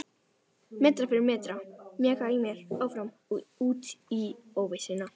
Metra fyrir metra mjakaði ég mér áfram út í óvissuna.